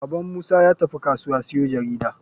Baban musa yatafi kasuwa siyo jarida.